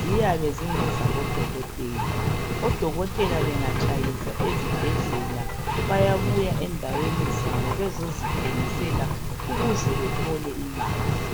ziyabe zingezabodokotela , odokotela bengatshayisa ezibhedlela bayabuya endaweni zabo bezozithengisela ukuze bethole imali